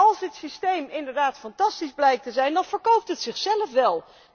En als het systeem inderdaad fantastisch blijkt te zijn, dan verkoopt het zichzelf wel!